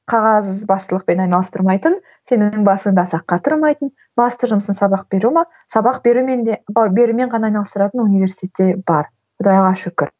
қағазбастылықпен айналыстырмайтын сен өзің басыңды аса қатырмайтын басты жұмысың сабақ беру ме сабақ берумен де берумен ғана айналыстыратын университеттер бар құдайға шүкір